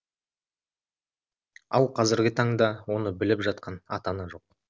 ал қазіргі таңда оны біліп жатқан ата ана жоқ